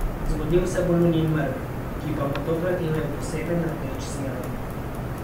Zgodil se bo lunin mrk, ki pa bo tokrat imel poseben rdeč sijaj.